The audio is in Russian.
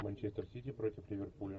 манчестер сити против ливерпуля